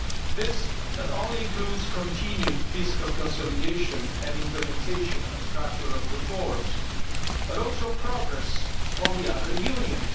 This not only includes continued fiscal consolidation and implementation of structural reforms but also progress on the other